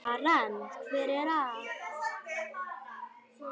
Karen: Hver er það?